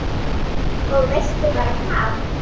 Og veistu bara hvað